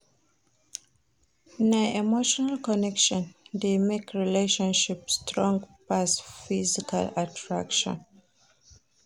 Na emotional connection dey make relationship strong pass physical attraction.